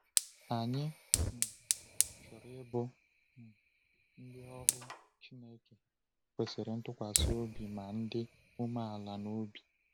Anyị um chọrọ ịbụ um ndị ohu Chineke kwesịrị ntụkwasị obi ma dị umeala n’obi.